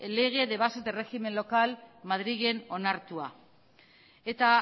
lege de bases de régimen local madrilen onartua eta